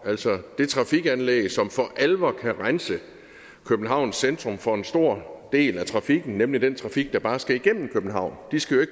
altså det trafikanlæg som for alvor kan rense københavns centrum for en stor del af trafikken nemlig den trafik der bare skal igennem københavn de skal jo